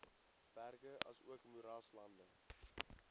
berge asook moeraslande